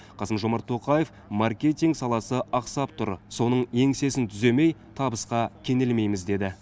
қасым жомарт тоқаев маркетинг саласы ақсап тұр соның еңсесін түземей табысқа кенелмейміз деді